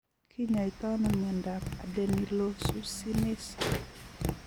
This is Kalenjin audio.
Kinyaitai ano miondap adenylosuccinase